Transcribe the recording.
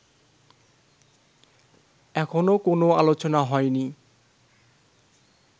এখনও কোনো আলোচনা হয়নি